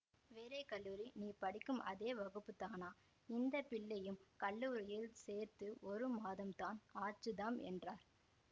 வேறே கல்லூரி நீ படிக்கும் அதே வகுப்புத்தானாம் இந்த பிள்ளையும் கல்லூரியில் சேர்த்து ஒரு மாதம்தான் ஆச்சுதாம் என்றார்